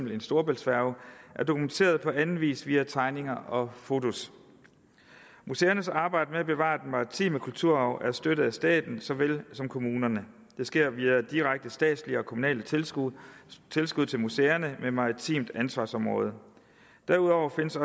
en storebæltsfærge er dokumenteret på anden vis via tegninger og fotos museernes arbejde med at bevare den maritime kulturarv er støttet af staten såvel som kommunerne det sker via direkte statslige og kommunale tilskud tilskud til museerne med maritimt ansvarsområde derudover findes